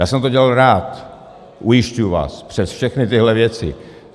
Já jsem to dělal rád, ujišťuji vás, přes všechny tyhle věci.